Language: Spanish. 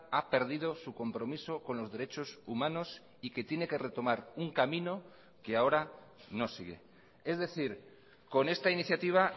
ha perdido su compromiso con los derechos humanos y que tiene que retomar un camino que ahora no sigue es decir con esta iniciativa